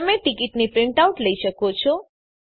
તમે ટીકીટની પ્રીંટઆઉટ લઇ શકો છો